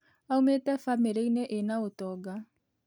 Aumĩte bamiriinĩ ĩna ũtonga